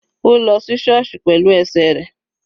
Ó lọ sí sọọsi pẹ̀lú ẹsẹ̀ rẹ̀.